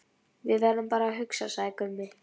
Við verðum bara að hugsa, sagði Gunni.